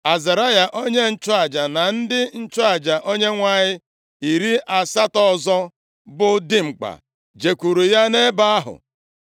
Azaraya onye nchụaja na ndị nchụaja Onyenwe anyị iri asatọ ọzọ bụ dimkpa jekwuru ya nʼebe ahụ.